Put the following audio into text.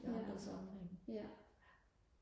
i andre sammenhænge